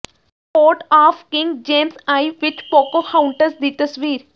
court of King James I ਵਿਚ Pocahontas ਦੀ ਤਸਵੀਰ